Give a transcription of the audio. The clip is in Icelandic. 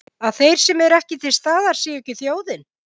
Að þeir sem eru til staðar sé ekki þjóðin?